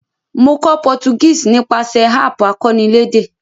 Mo kó Portuguese nípasẹ̀ app akọ́nilédè